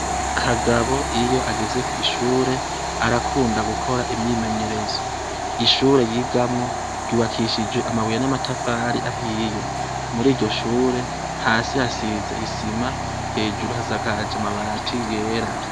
Kagabo iyo ageze kw'ishure, arakunda gukora imyimenyerezo. Ishure yigamwo, ryubakishije amabuye n'amatafari ahiye. Muri iryo shure, hasi hasize isima, hejuru hasakaje amabati yera.